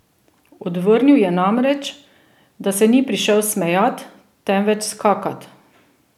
Odvrnil je namreč, da se ni prišel smejat, temveč skakat!